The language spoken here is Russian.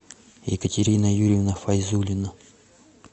екатерина юрьевна файзуллина